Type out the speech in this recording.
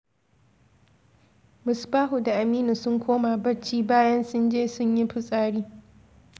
Musbahu da Aminu sun koma bacci bayan sun je sun yo fitsari.